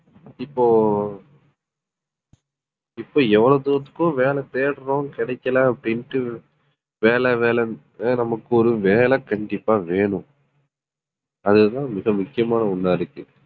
இப்போ இப்ப எவ்வளவு தூரத்துக்கு வேலை தேடுறோம் கிடைக்கலை அப்படின்னுட்டு வேலை வேலைன்னு நமக்கு ஒரு வேலை கண்டிப்பா வேணும் அதுதான் மிக முக்கியமான ஒண்ணா இருக்கு